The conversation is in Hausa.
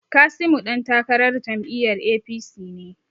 Kasimu dan takarar jam'iyyar APC ne.